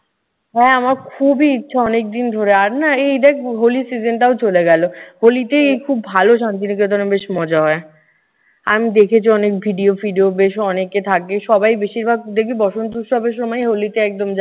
হ্যাঁ, আমার খুবই ইচ্ছা অনেকদিন ধরে। আর না এই দেখ হোলির season টাও চলে গেল। হোলিতে খুব ভালো শান্তিনিকেতনে, বেশ মজা হয়। আমি দেখেছি অনেক video ফিডিও বেশ অনেকে থাকে। সবাই বেশিরভাগ দেখবি বসন্ত উৎসবে সময় হোলিতে একদম যায়।